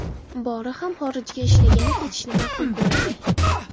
Bori ham xorijga ishlagani ketishni ma’qul ko‘radi.